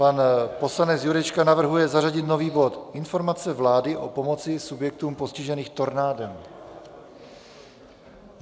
Pan poslanec Jurečka navrhuje zařadit nový bod Informace vlády o pomoci subjektům postiženým tornádem.